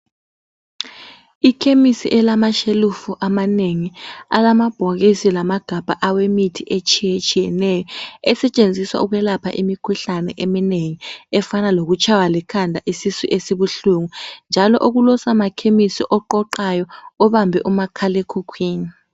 Ikhemisi elamashelufu amanengi alamabhokisi lamagabha awemithi eminenginengi etshiyetshiyeneyo. Esetshenziswa ukwelapha imikhuhlane eminengi, njalo kulosomakhemisi oqoqayo obambe umakhala ekhukhwini.